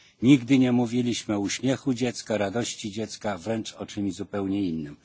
Nigdy nie mówiliśmy o uśmiechu dziecka, radości dziecka, wręcz o czymś zupełnie innym.